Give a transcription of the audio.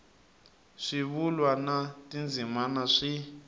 swivulwa na tindzimana swi